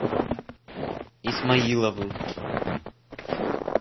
исмаиловым